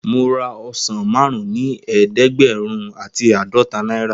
Mo ra ọsán márún ni eedegberun ati aadọta náírà.